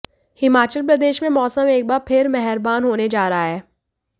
हिमाचल प्रदेश में मौसम एक बार फिर मेहरबान होने जा रहा है